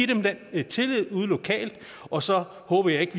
dem den tillid ude lokalt og så håber jeg ikke